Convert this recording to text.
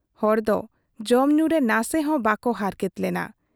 ᱦᱚᱲ ᱠᱚ ᱡᱚᱢ ᱧᱩᱨᱮ ᱱᱟᱥᱮ ᱦᱚᱸ ᱵᱟᱠᱚ ᱦᱟᱨᱠᱮᱛ ᱞᱮᱱᱟ ᱾